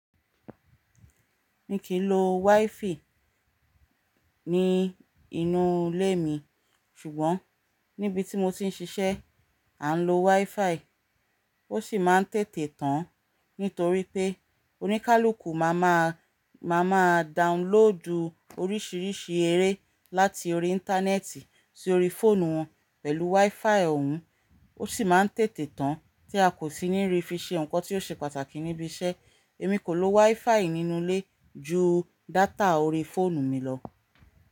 Mi kì í lo wi-fi ní inú ilé mi, ṣùgbọ́n níbi tí mo ti ń ṣiṣẹ́, à ń lo wi-fi. Ó sì máa ń tètè tán, nítorí pé oníkálukú máa máa, máa máa downloadù oríṣiríṣi eré láti orí Íńtánẹ́ẹ̀tì sí orí fóònù wọn pẹ̀lú wi-fi òun. Ó sì máa ń tètè tán tí a kò sì ní rí fi ṣe nǹkan tí ó ṣe pàtàkì níbi iṣẹ́. Èmi kò lo wifi nínú ilé ju data orí fóònù mi lọ.